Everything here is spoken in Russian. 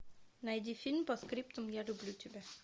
найди фильм постскриптум я люблю тебя